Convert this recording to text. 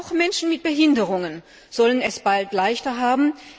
Auch Menschen mit Behinderungen sollen es bald leichter haben.